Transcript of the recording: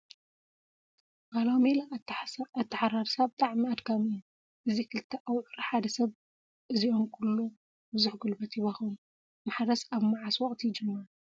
ባህላዊ ሜላ ኣተሓራርሳ ብጣዕሚ ኣድካሚ እዩ:: እዚ ክልተ ኣውዕር ሓደ ሰብ እዚኦም ኩሎም ብዙሕ ጉልበት ይባክኑ:: ማሕረስ ኣብ መዓስ ወቅቲ ይጅመር ?